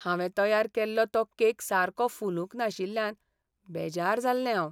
हांवें तयार केल्लो तो केक सारको फुलूंक नाशिल्ल्यान बेजार जाल्लें हांव.